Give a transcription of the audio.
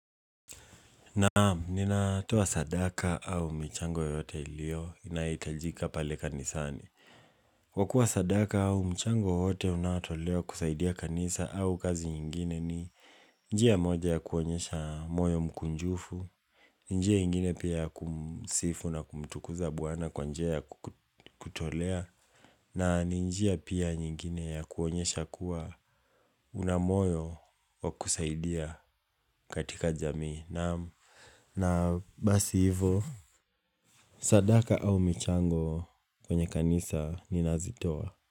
Naamu, nina toa sadaka au mchango yote ilio inaitajika pale kanisani. Kwa kuwa sadaka au mchango yote unatoleo kusaidia kanisa au kazi nyingine ni njia moja ya kuonyesha moyo mkunjufu, njia nyingine pia kumsifu na kumtukuza bwana kwa njia ya kutolea, na njia pia nyingine ya kuonyesha kuwa una moyo wa kusaidia katika jamii. Na basi hivyo Sadaka au michango kwenye kanisa ninazitowa.